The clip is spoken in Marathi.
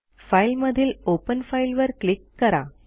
फाइल मधील ओपन फाइल वर क्लिक करा